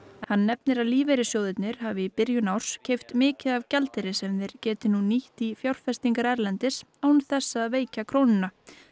hann nefnir að lífeyrissjóðirnir hafi í byrjun árs keypt mikið af gjaldeyri sem þeir geti nú nýtt í fjárfestingar erlendis án þess að veikja krónuna